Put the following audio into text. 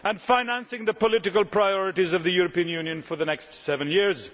and financing the political priorities of the European Union for the next seven years.